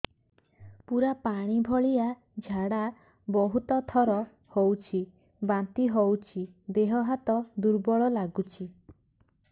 ପୁରା ପାଣି ଭଳିଆ ଝାଡା ବହୁତ ଥର ହଉଛି ବାନ୍ତି ହଉଚି ଦେହ ହାତ ଦୁର୍ବଳ ଲାଗୁଚି